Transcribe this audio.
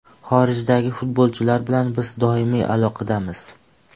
Xorijdagi futbolchilar bilan biz doimiy aloqadamiz.